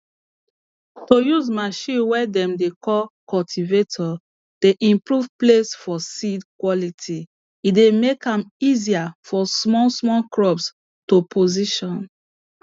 to use machine way dem dey call cultivator dey improve place for seed quality e dey make am easier for small small crop to position